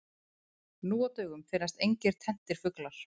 Nú á dögum finnast engir tenntir fuglar.